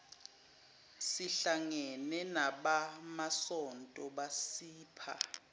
sihlangene nabamasonto basipha